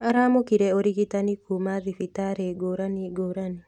Aramũkire ũrigitani kuma thibitarĩngũrani ngũrani.